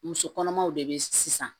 Muso kɔnɔmaw de be sisan